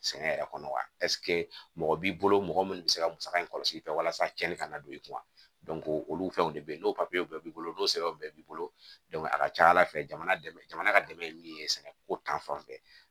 Sɛnɛ yɛrɛ kɔnɔ wa mɔgɔ b'i bolo mɔgɔ minnu be se ka musaka in kɔlɔsi i fɛ walasa cɛni ka na don i kunna olu fɛnw de bɛ ye n'o bɛɛ b'i bolo n'o sɛbɛnw bɛɛ b'i bolo a ka ca ala fɛ jamana dɛmɛ jamana ka dɛmɛ ye min ye sɛnɛko ta fanfɛ